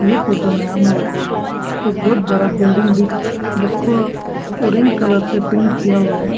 ये फोटो में हम लोगो को एक बहोत बड़ा बिल्डिंग दिख जिसको ऑरेंज कलर से पेंट किया हुआ है।